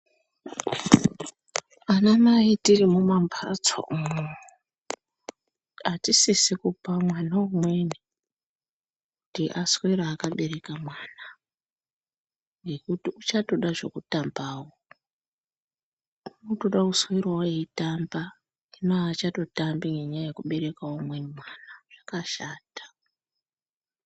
Anamai tiri mumambatso umo, atisisi kupa mwana umweni kuti aswere akabereka mwana, ngekuti uchatoda zvekutambawo, unotoda kuswerawo eyitamba, hino achatotambi ngenyaya yekubereka umweni mwana ,zvakashata.